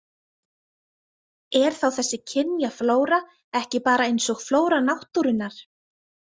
Er þá þessi kynjaflóra ekki bara eins og flóra náttúrunnar?